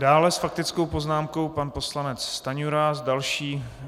Dále s faktickou poznámkou pan poslanec Stanjura.